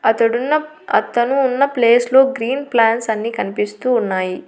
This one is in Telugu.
అతడున్న అతను ఉన్న ప్లేస్ లో గ్రీన్ ప్లాంట్స్ అన్ని కన్పిస్తూ ఉన్నాయి.